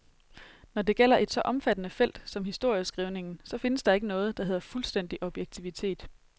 Når det gælder et så omfattende felt som historieskrivningen, så findes der ikke noget, der hedder fuldstændig objektivitet.